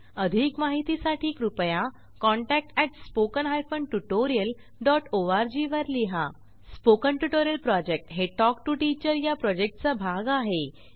अधिक माहितीसाठी कृपया contact at spoken hyphen tutorial dot org वर लिहा स्पोकन ट्युटोरियल प्रॉजेक्ट हे टॉक टू टीचर या प्रॉजेक्टचा भाग आहे